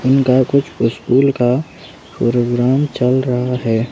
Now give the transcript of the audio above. उनका कुछ स्कूल का प्रोग्राम चल रहा है।